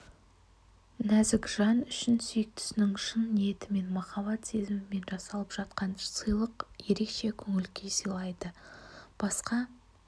нәзік жан үшін сүйіктісінің шын ниетімен маіаббат сезімімен жасалып жатқан сыйлық ерекше көңіл-күй сыйлайды басқа